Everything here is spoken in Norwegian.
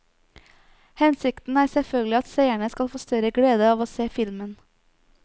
Hensikten er selvfølgelig at seerne skal få større glede av å se filmen.